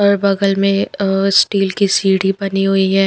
और बगल में अ स्टील की सीढ़ी बनी हुई है।